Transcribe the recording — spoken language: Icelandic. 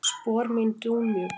Spor mín dúnmjúk.